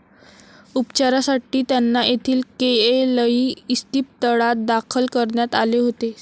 उपचारासाठी त्यांना येथील केएलई इस्पितळात दाखल करण्यात आले होते.